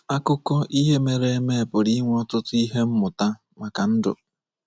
Akụkọ ihe mere eme pụrụ inwe ọtụtụ ihe mmụta maka ndụ.